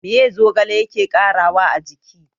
Meye zogale yake ƙarawa a jiki?